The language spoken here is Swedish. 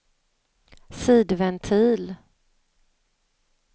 sidventil